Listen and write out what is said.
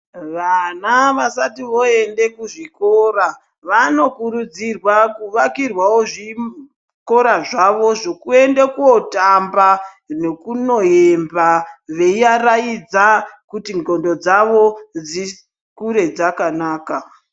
Vana vasati voende kuzvikora vanokurudzirwa kuvakirwawo zvikora zvavo zvekuenda kootamba nekunoimba veiaraidza kuti ndxondo dzavo dzikure dzakanaka.